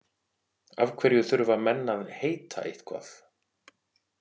Af hverju þurfa menn að heita eitthvað?